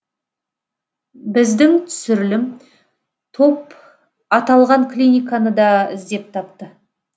біздің түсірілім топ аталған клиниканы да іздеп тапты